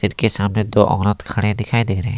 के सामने दो औरत खड़े दिखाई दे रहे हैं।